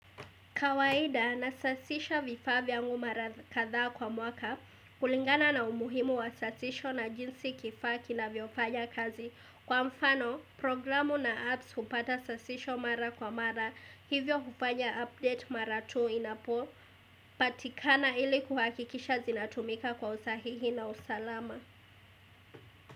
Kawaida, nasasisha vifaa vyangu mara kadhaa kwa mwaka, kulingana na umuhimu wa sasisho na jinsi kifaki kinavyofanya kazi. Kwa mfano, programu na apps hupata sasisho mara kwa mara, hivyo hufanya update mara tu inapo, patikana ili kuhakikisha zinatumika kwa usahihi na usalama.